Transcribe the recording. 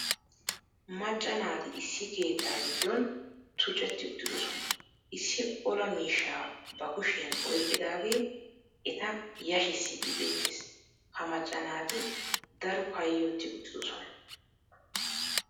Macca naati issi keettaa giddon tuccetti uttidosona, issi olaa miishshaa ba kushiyan oyqqidaagee eta yashissiidi beettees, ha macca naati daro kayoti uttiddossona.